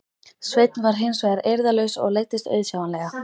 Sveinn var hins vegar eirðarlaus og leiddist auðsjáanlega.